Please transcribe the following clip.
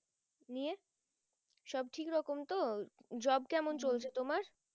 নিয়ে সব ঠিক রকম তো Job কেমন চলছে তোমার?